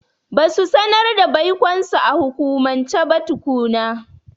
Ba su sanar da baikonsu a hukumance ba tukuna.